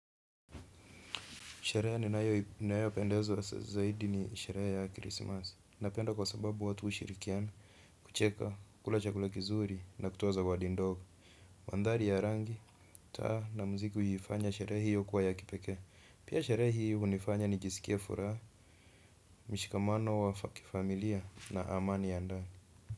Sherehe ninayopendezwa zaidi ni sherehe ya Krismasi. Napenda kwa sababu watu hushirikiana, kucheka, kula chakula kizuri na kutoa zawadi ndogo. Mandhari ya rangi, taa na mziki huifanya sherehe hiyo kuwa ya kipekee. Pia sherehe hiyo hunifanya nijiskia furaha, mshikamano wa kifamilia na amani ya ndani.